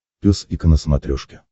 пес и ко на смотрешке